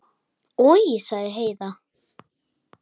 Oj, sagði Heiða.